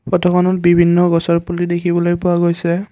ফটোখনত বিভিন্ন গছৰ পুলি দেখিবলৈ পোৱা গৈছে।